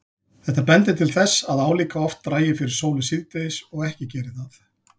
Þetta bendir til þess að álíka oft dragi fyrir sólu síðdegis og ekki geri það.